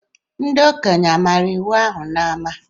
Ndi okenye amara iwu ahụ n’ama?